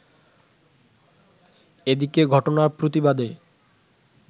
এদিকে ঘটনার প্রতিবাদে